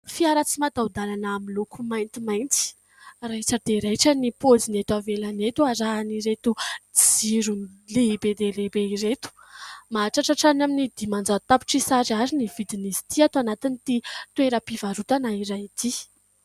Fiara tsy mataho-dalana miloko mainty mainty raitra dia raitra ny pôziny eto ivelany eto arahany ireto jiro lehibe dia lehibe ireto. Mahatratra hatrany amin'ny dimanjato tapitrisa ariary ny vidiny izy ity ato anatin'ity toeram-pivarotana iray ity.